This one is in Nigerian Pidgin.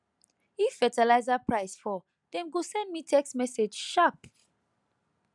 if fertiliser price fall dem go send me text message sharp